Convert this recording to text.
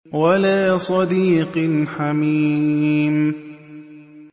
وَلَا صَدِيقٍ حَمِيمٍ